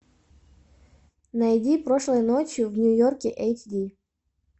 найди прошлой ночью в нью йорке эйч ди